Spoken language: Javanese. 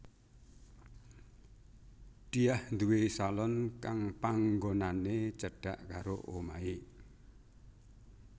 Diah nduwé salon kang panggonané cedhak karo omahé